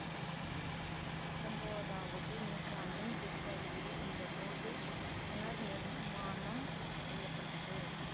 பத்தொம்போதாவது நூற்றாண்டின் பிற்பகுதியில் இந்த கோவில் புனர்நிர்மாணம் செய்ய பட்டது